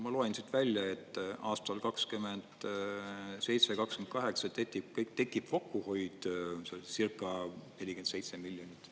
Ma loen siit välja, et aastal 2027, 2028 tekib kokkuhoid, see oli circa 47 miljonit.